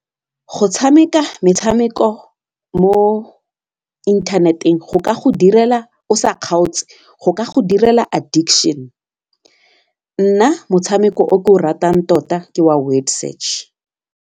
Go tshameka metshameko mo inthanet-eng direla o sa kgaotse go ka go direla addiction nna motshameko o ke o ratang tota ke wa word search.